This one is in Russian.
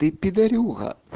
ты пидорюга